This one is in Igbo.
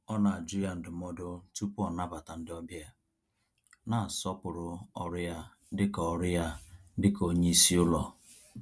Ọ na-ajụ ya ndụmọdụ tupu ọ nabata ndị ọbịa, na-asọpụrụ ọrụ ya dịka ọrụ ya dịka onye isi ụlọ.